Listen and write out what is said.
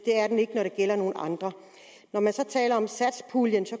er den ikke når det gælder nogle andre når man så taler om satspuljen